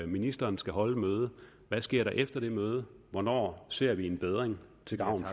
ministeren skal holde et møde hvad sker der efter det møde hvornår ser vi en bedring til gavn